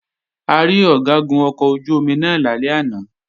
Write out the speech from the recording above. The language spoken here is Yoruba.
A rí Ọ̀gágun ọkọ̀ ojú-omi náà lálẹ́ àná